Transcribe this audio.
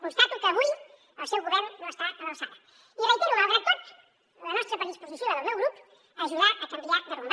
constato que avui el seu govern no està a l’alçada i reitero malgrat tot la nostra predisposició i la del meu grup a ajudar a canviar de rumb